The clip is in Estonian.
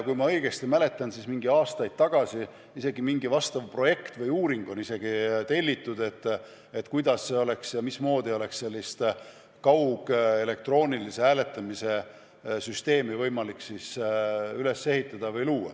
Kui ma õigesti mäletan, siis mõni aasta tagasi telliti isegi mingi sellekohane projekt või uuring, et kuidas see käiks ja mismoodi oleks võimalik elektroonilise kaughääletamise süsteemi luua.